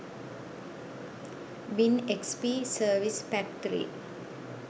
win xp service pack 3